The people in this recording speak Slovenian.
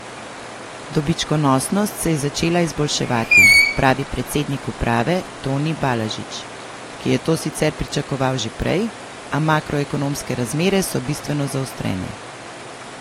Dobičkonosnost se je začela izboljševati, pravi predsednik uprave Toni Balažič, ki je to sicer pričakoval že prej, a makroekonomske razmere so bistveno zaostrene.